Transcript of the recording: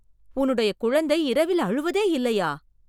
உன்னுடைய குழந்தை இரவில் அழுவதே இல்லையா?